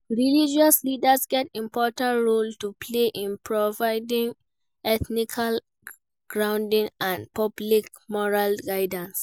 Religious leaders get important role to play in providing ethical grounding and public moral guidance.